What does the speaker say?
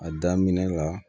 A daminɛ la